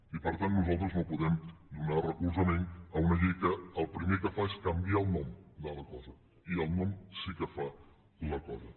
i per tant nosaltres no podem donar recolzament a una llei que el primer que fa és canviar el nom de la cosa i el nom sí que fa la cosa